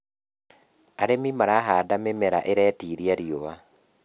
arĩmi marahanda mĩmera iretĩĩria riũa